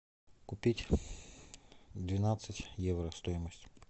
купить двенадцать евро стоимость